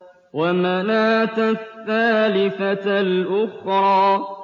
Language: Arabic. وَمَنَاةَ الثَّالِثَةَ الْأُخْرَىٰ